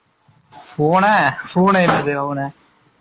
பூனை பூனை இல்ல டா இவனே